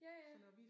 Ja ja